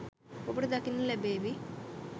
ඔබට දකින්නට ලැබේවි